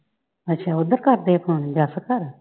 ਅੱਛਾ ਓਧਰ ਕਰਦੇ ਆ phone ਜੱਸ ਘਰ?